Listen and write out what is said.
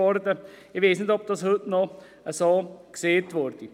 Ich weiss nicht, ob das heute noch so gesagt würde.